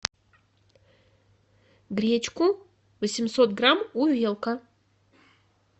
гречку восемьсот грамм увелка